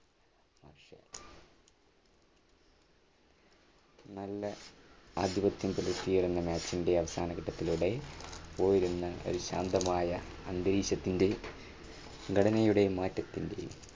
നല്ല ആധിപത്യം പുലർത്തിയ രണ്ടു match ന്റെ അവസാന ഘട്ടത്തിലൂടെ പോയിരുന്ന ഒരു ശാന്തമായ അന്തരീക്ഷത്തിന്റെ ഘടനയുടെ മാറ്റത്തിന്റെ